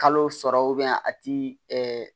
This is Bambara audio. Kalo sɔrɔ a ti